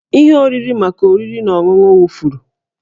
Ihe oriri maka oriri na ọṅụṅụ wụfuru